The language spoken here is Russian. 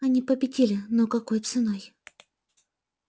они победили но какой ценой